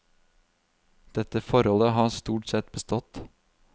Dette forholdet har stort sett bestått.